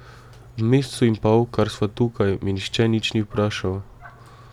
V mesecu in pol, kar sva tukaj, me nihče nič ni vprašal.